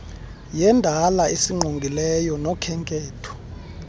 yendalo esingqongileyo nokhenketho